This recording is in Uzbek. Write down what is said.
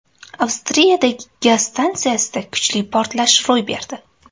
Avstriyadagi gaz stansiyasida kuchli portlash ro‘y berdi.